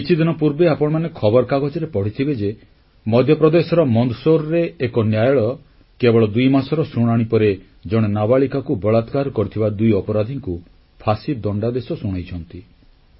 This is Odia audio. କିଛିଦିନ ପୂର୍ବେ ଆପଣମାନେ ଖବରକାଗଜରେ ପଢ଼ିଥିବେ ଯେ ମଧ୍ୟପ୍ରଦେଶର ମନ୍ଦସୌରରେ ଏକ ନ୍ୟାୟାଳୟ କେବଳ ଦୁଇମାସର ଶୁଣାଣି ପରେ ଜଣେ ନାବାଳିକାକୁ ବଳାତ୍କାର କରିଥିବା ଦୁଇ ଅପରାଧୀଙ୍କୁ ଫାଶୀ ଦଣ୍ଡାଦେଶ ଶୁଣାଇଛନ୍ତି